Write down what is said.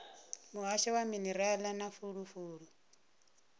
muhasho wa minerala na fulufulu